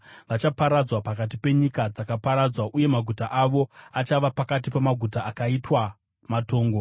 Vachaparadzwa pakati penyika dzakaparadzwa, uye maguta avo achava pakati pamaguta akaitwa matongo.